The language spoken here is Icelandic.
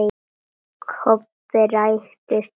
Kobbi ræskti sig.